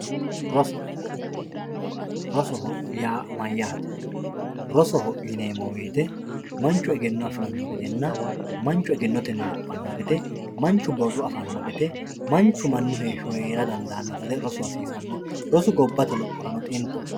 roso rosoho yaa mayaate rosoho yineemo woyiite manchu egenno afiranno gedenna manchu egennotenni lophanno gede manchu borro afanno gede manchu mannu heeshsho heera dandaano gede rosu hasiisanno rosu gobbate lophoranno xintaho.